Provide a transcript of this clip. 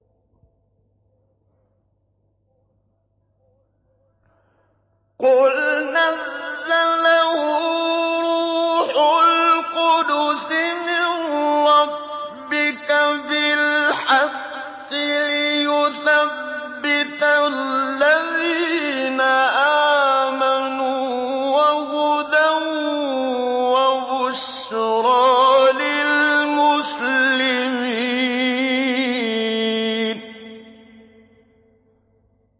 قُلْ نَزَّلَهُ رُوحُ الْقُدُسِ مِن رَّبِّكَ بِالْحَقِّ لِيُثَبِّتَ الَّذِينَ آمَنُوا وَهُدًى وَبُشْرَىٰ لِلْمُسْلِمِينَ